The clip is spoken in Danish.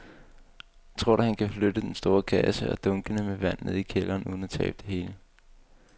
Tror du, at han kan flytte den store kasse og dunkene med vand ned i kælderen uden at tabe det hele?